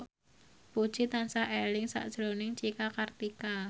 Puji tansah eling sakjroning Cika Kartika